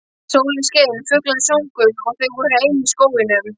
Sólin skein, fuglarnir sungu og þau voru ein í skóginum.